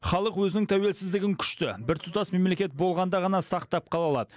халық өзінің тәуелсіздігін күшті біртұтас мемлекет болғанда ғана сақтап қала алады